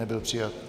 Nebyl přijat.